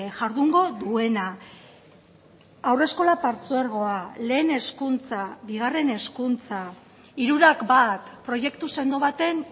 jardungo duena haurreskola partzuergoa lehen hezkuntza bigarren hezkuntza hirurak bat proiektu sendo baten